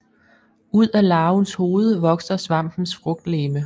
Ud af larvens hoved vokser svampens frugtlegeme